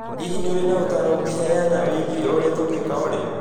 Hihi nĩ ũrĩ na ũtaaro ũngĩheana wĩgiĩ ũrĩa tũngĩĩka Olly